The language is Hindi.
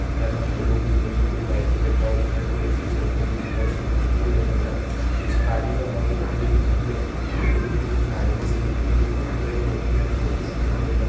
यहाँ पर हमको लोग दिख रहे है जो की कोई बाइक पे बैठा हूआ दिख रहा है कोई ऐसे ही चलते हुए दिख रहा है जो की बहुत ही बढ़िया लग रहा पीछे पानी भरा हूआ दिख रहा है जो की झील लगती हैं। पेड़ दिख रहे है जोकि नारियल जैसा दिखते जोकी बहुत ही बढ़िया बहुत ही प्यारे बहुत ही सुंदर पेड़ लग --